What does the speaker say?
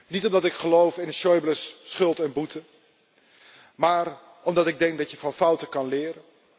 Niet omdat ik geloof in Schäubles schuld en boete, maar omdat ik denk dat je van fouten kan leren.